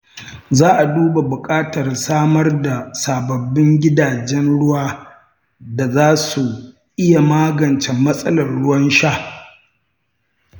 Za a duba buƙatar samar da sababbin gidajen ruwa da za su iya magance matsalar ruwan sha.